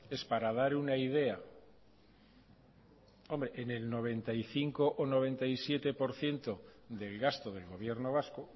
es para dar una idea hombre en el noventa y cinco o noventa y siete por ciento del gasto del gobierno vasco